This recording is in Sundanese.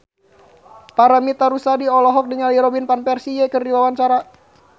Paramitha Rusady olohok ningali Robin Van Persie keur diwawancara